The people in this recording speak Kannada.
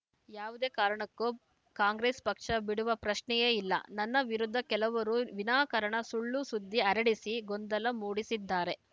ಯಾವುದೇ ಕಾರಣಕ್ಕೂ ಕಾಂಗ್ರೆಸ್‌ ಪಕ್ಷ ಬಿಡುವ ಪ್ರಶ್ನೆಯೇ ಇಲ್ಲ ನನ್ನ ವಿರುದ್ಧ ಕೆಲವರು ವಿನಾಕಾರಣ ಸುಳ್ಳು ಸುದ್ದಿ ಹರಡಿಸಿ ಗೊಂದಲ ಮೂಡಿಸಿದ್ದಾರೆ